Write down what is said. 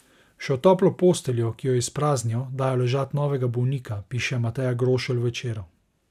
Še v toplo posteljo, ko jo izpraznijo, dajo ležat novega bolnika, piše Mateja Grošelj v Večeru.